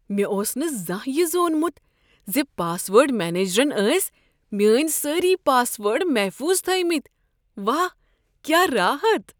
مےٚ اوس نہٕ زانٛہہ یہ زونمت ز پاس ورڈ منیجرن ٲسۍ میٛٲنۍ سٲری پاس ورڈ محفوظ تھٲویمتی۔ واہ کیا راحت!